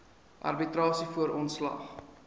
arbitrasie voor ontslag